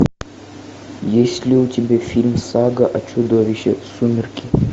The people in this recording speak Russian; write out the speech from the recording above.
есть ли у тебя фильм сага о чудовище сумерки